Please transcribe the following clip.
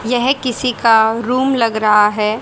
यह किसी का रूम लग रहा है।